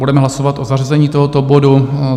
Budeme hlasovat o zařazení tohoto bodu.